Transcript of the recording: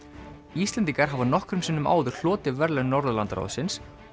Íslendingar hafa nokkrum sinnum áður hlotið verðlaun Norðurlandaráðsins